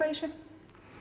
þessu